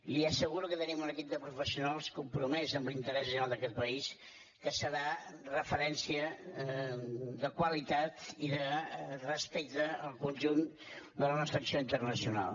li asseguro que tenim un equip de professionals compromès amb l’interès general d’aquest país que serà referència de qualitat i de respecte al conjunt de la nostra acció internacional